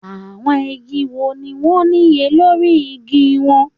Àwọn igi wo ni wọ́n níye lórí igi wọn?